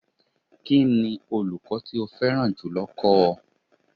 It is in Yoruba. Kí ni olùkọ́ tó o fẹ́ràn jùlọ kọ́ ọ?